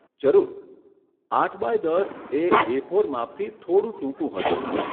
જરૂર, આઠ બાય દસ એ એફોર માપથી થોડું ટૂંકું હશે.